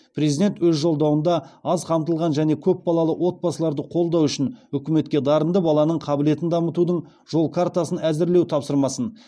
президент өз жолдауында аз қамтылған және көпбалалы отбасыларды қолдау үшін үкіметке дарынды баланың қабілетін дамытудың жол картасын әзірлеу тапсырмасын